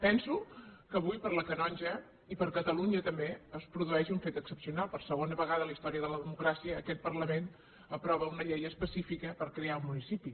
penso que avui per a la canonja i per a catalunya també es produeix un fet excepcional per segona vegada en la història de la democràcia aquest parlament aprova una llei específica per crear un municipi